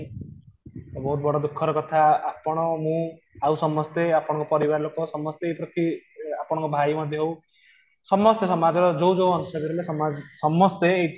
ତ ବହୁତ ବଡ ଦୁଃଖ ର କଥା ଆପଣ ମୁଁ ସମସ୍ତେ ଆପଣଙ୍କର ପରିବାର ଲୋକ ସମସ୍ତେ ପ୍ରତି ଆପଣଙ୍କର ଭାଇ ମଧ୍ୟ ହଉ ସମସ୍ତେ ସମାଜ ର ଯୋଉ ଯୋଉ ଅଂଶ ରହିଲେ ସମସ୍ତେ